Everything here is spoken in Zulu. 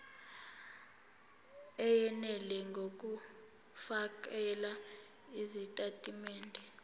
eyenele ngokufakela izitatimende